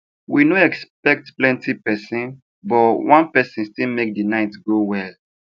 we no expect plenti person but one person still make the night go well